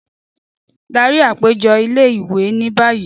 Dari apejọ ile-iwe ni bayi!